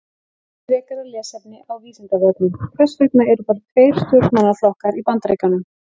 Frekara lesefni á Vísindavefnum: Hvers vegna eru bara tveir stjórnmálaflokkar í Bandaríkjunum?